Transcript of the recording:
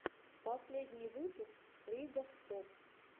последний выпуск ригоф топ